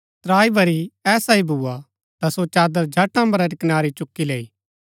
त्राई बरी ऐसा ही भुआ ता सो चादर झट अम्बरा री कनारी चुकी लैऊ